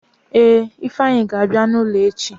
Ee, ifeanyi ga-abịa n'ụlọ echi.